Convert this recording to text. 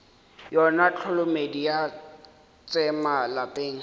yona tholomedi ya tsema lapeng